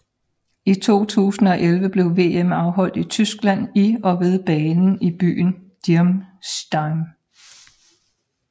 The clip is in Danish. I 2011 blev VM afholdt i Tyskland i og ved banen i byen Dirmstein